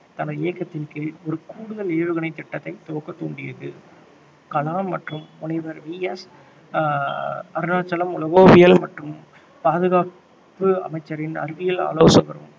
தனது இயக்கத்தின் கீழ் ஒரு கூடுதல் ஏவுகணை திட்டத்தைத் துவக்க தூண்டியது கலாம் மற்றும் முனைவர் வி எஸ் ஆஹ் அருணாச்சலம் உலோகவியல் மற்றும் பாதுகாப்பு அமைச்சரின் அறிவியல் ஆலோசகரும்